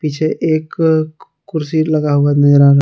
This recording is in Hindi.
पीछे एक कुर्सी लगा हुआ नजर आ रहा--